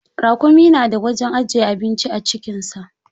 Raƙumi na da wajen ajiye abinci a cikin sa.